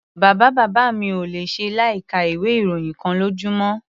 Bàbá-bàbá mi ò le ṣe láìka ìwé-ìròyìn kan lójúmọ́.